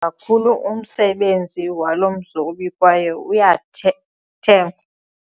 kakhulu umsebenzi walo mzobi kwaye uyathengwa.